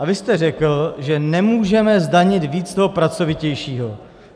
A vy jste řekl, že nemůžeme zdanit víc toho pracovitějšího.